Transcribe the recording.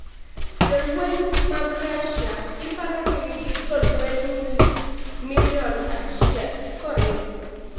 Jolweny mag Russia iparo ni nigi jolweny Milion achiel ko riw